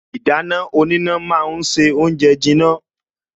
Ìdáná oníná ma ń se oúnjẹ jiná